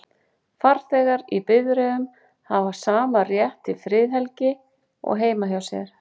Farþegar í bifreiðum hafa sama rétt til friðhelgi og heima hjá sér.